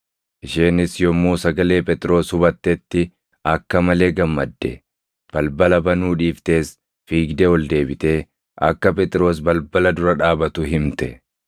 Isheenis yommuu sagalee Phexros hubattetti akka malee gammadde; balbala banuu dhiiftees fiigdee ol deebitee akka Phexros balbala dura dhaabatu himte.